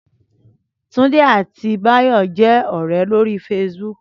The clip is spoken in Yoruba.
Túndé àti Báyọ̀ jẹ́ ọ̀rẹ́ lórí Facebook